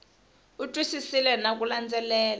u twisisile na ku landzelela